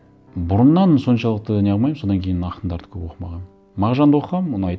бұрыннан соншалықты не қылмаймын содан кейін ақындарды көп оқымағанмын мағжанды оқығанмын ұнайды